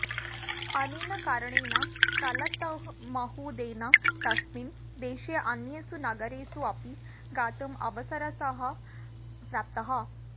अनेन कारणेन तलतमहूदेन तस्मिन् देशे अन्येषु नगरेषु अपि गातुम् अवरसरः प्राप्तः